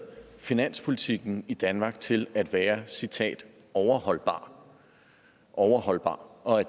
finanspolitikken i danmark til at være citat overholdbar overholdbar og